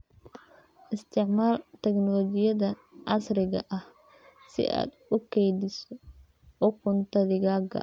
Isticmaal tignoolajiyada casriga ah si aad u kaydiso ukunta digaagga.